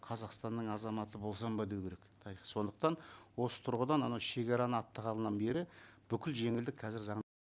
қазақстанның азаматы болсам ба деу керек сондықтан осы тұрғыдан ана шегараны аттағанынан бері бүкіл жеңілдік қазір заң